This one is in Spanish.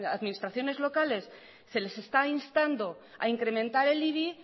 administraciones locales se les está instando a incrementar el ibi